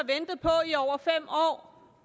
i over fem år